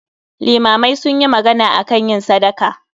Limamai sunyi magana akan yin sadaka